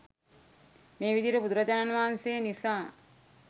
මේ විධියට බුදුරජාණන් වහන්සේ නිසා